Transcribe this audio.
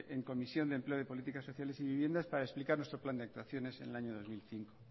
en comisión de empleo y política sociales y viviendas para explicar nuestro plan de actuaciones en el año dos mil quince